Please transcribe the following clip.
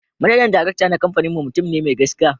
Manajan Darakta na kamfaninmu mutum ne mai gaskiya